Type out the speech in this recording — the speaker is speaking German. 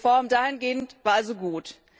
Die Reform dahingehend war also gut.